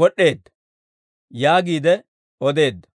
wod'd'eedda» yaagiide odeedda.